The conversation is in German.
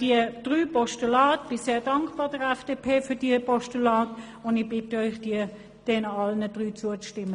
Ich bin der FDP sehr dankbar für diese Postulate und bitte Sie, allen drei zuzustimmen.